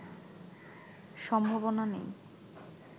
সম্ভাবনা নেই